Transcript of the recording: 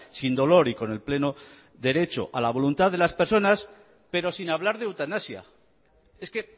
sin dolor y con el pleno derecho a la voluntad de las personas pero sin hablar de eutanasia es que